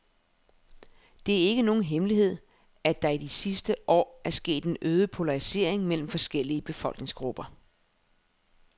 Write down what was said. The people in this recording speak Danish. Det er ikke nogen hemmelighed, at der i de sidste år er sket en øget polarisering mellem forskellige befolkningsgrupper.